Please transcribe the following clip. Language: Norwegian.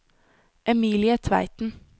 Emilie Tveiten